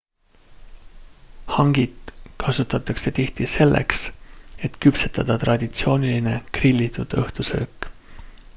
hangit kasutatakse tihti selleks et küpsetada traditsiooniline grillitud õhtusöök